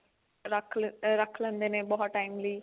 ਰੱਖ ਰੱਖ ਲੈਂਦੇ ਨੇ ਬਹੁਤ time ਲਈ